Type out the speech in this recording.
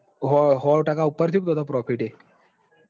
સો ટકા ઉપર થયું. ન તો ત profit એ